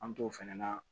An t'o fɛnɛ na